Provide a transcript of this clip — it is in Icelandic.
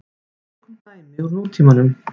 Tökum dæmi úr nútímanum.